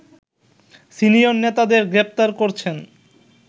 senior নেতাদের গ্রেপ্তার করছেন